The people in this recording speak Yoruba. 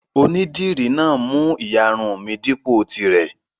Onídìrí náà mú ìyarun mi dípò tirẹ̀.